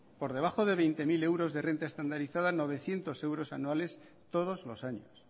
por debajo de veinte mil euros de renta estandarizada novecientos euros anuales todos los años